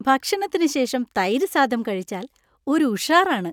ഭക്ഷണത്തിന് ശേഷം തൈര് സാദം കഴിച്ചാൽ ഒരു ഉഷാറാണ്!